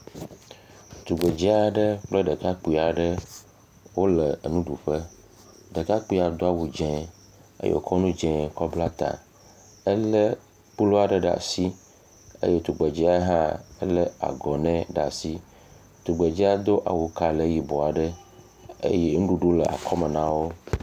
Tugbe dzɛ aɖe kple ɖekakpui aɖewo le nuɖuƒe, Ɖekakpuia do awu dzɛ eye wokɔ nu dzɛ kɔ bla ta. Ele kplu aɖe ɖe asi eye nyɔnuvia le ahɔne ɖe asi. Tugbedzɛa do awu kalẽ yibɔ eye nuɖuɖu le akɔ me nawo.